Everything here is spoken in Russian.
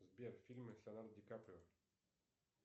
сбер фильмы с леонардо ди каприо